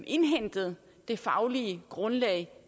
indhentet det faglige grundlag